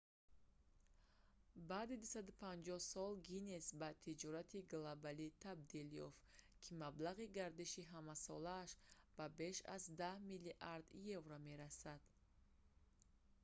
баъди 250 сол гиннес ба тиҷорати глобалие табдил ёфт ки маблағи гардиши ҳамасолааш ба беш аз 10 миллиард евро 14,7 млрд. долл. има мерасад